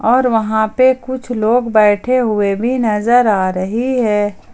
और वहां पे कुछ लोग बैठे हुए भी नजर आ रही है।